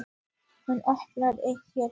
Hún opnar eitt herbergjanna.